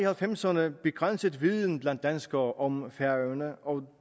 halvfems ’erne begrænset viden blandt danskere om færøerne og